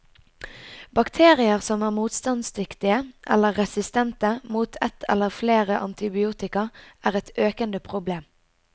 Bakterier som er motstandsdyktige, eller resistente, mot et eller flere antibiotika, er et økende problem.